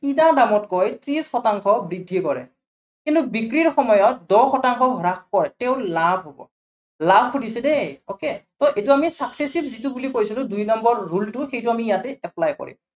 কিনা দামতকৈ ত্ৰিশ শতাংশ বক্ৰী কৰে। কিন্তু বিক্ৰীৰ সময়ত দহ শতাংশ হ্ৰাস কৰে। তেওঁৰ লাভ হব, লাভ শুধিছে দেই, okay, so এইটো আমি subsassive যিটো বুলি কৈছিলো, দুই number rule টো সেইটো আমি ইয়াতে apply কৰিম।